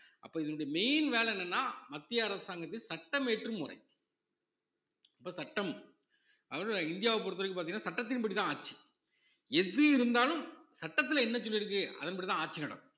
அப்ப இந்த main வேலை என்னன்னா மத்திய அரசாங்கத்துக்கு சட்டம் இயற்றும் முறை இப்ப சட்டம் அதாவது இந்தியாவை பொறுத்தவரைக்கும் பாத்தீங்கன்னா சட்டத்தின்படிதான் ஆட்சி எது இருந்தாலும் சட்டத்துல என்ன சொல்லிருக்கு அதன்படிதான் ஆட்சி நடக்கும்